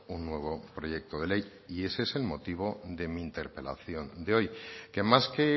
un nuevo proyecto de ley y ese es el motivo de mi interpelación de hoy que más que